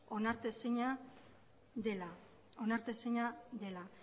onartezina dela